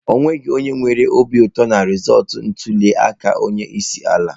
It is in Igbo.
O nweghị onye nwere obi ụtọ na rizọọtụ ntuli aka onye isi ala.